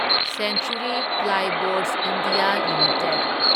century Plyboards India limited